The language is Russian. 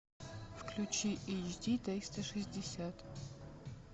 включи эйч ди триста шестьдесят